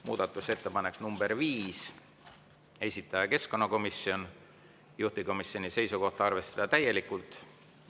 Muudatusettepanek nr 5, esitaja keskkonnakomisjon, juhtivkomisjoni seisukoht on arvestada täielikult.